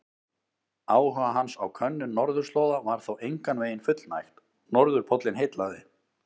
Áhuga hans á könnun norðurslóða var þó engan veginn fullnægt, norðurpóllinn heillaði.